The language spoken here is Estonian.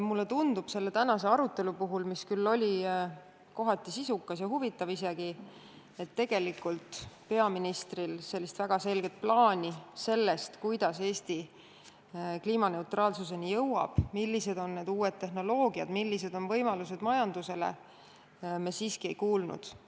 Mulle tundub selle tänase arutelu puhul, mis küll oli kohati sisukas ja isegi huvitav –, et tegelikult peaministri väga selget plaani sellest, kuidas Eesti kliimaneutraalsuseni jõuab, millised on uued tehnoloogiad, millised on majanduse võimalused, me siiski ei kuulnud.